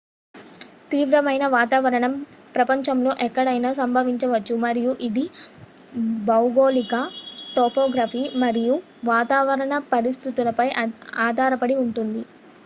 తీవ్రమైన వాతావరణం ప్రపంచంలో ఎక్కడైనా సంభవించవచ్చు మరియు ఇది భౌగోళిక టోపోగ్రఫీ మరియు వాతావరణ పరిస్థితులపై ఆధారపడి ఉంటుంది